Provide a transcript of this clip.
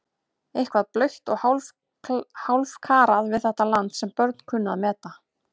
Eitthvað blautt og hálfkarað við þetta land sem börn kunnu að meta.